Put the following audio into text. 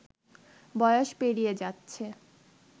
বয়স পেরিয়ে যাচ্ছে